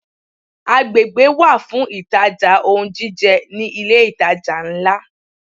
Agbègbè wà fún ìtajà ohun jíjẹ ní ilé ìtajà ńlá.